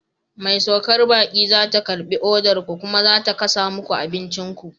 Mai saukar baƙi za ta karɓi odar ku, kuma ta kasa muku abincin ku.